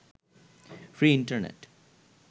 free internet